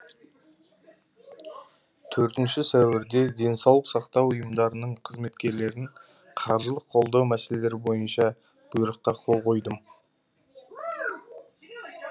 төртінші сәуірде денсаулық сақтау ұйымдарының қызметкерлерін қаржылық қолдау мәселелері бойынша бұйрыққа қол қойдым